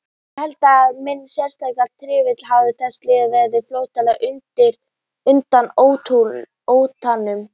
Ég held að í mínu sérstaka tilfelli hafi þessi leið verið flótti undan óttanum.